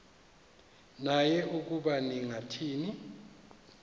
naye ukuba ningathini